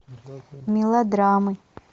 мелодрамы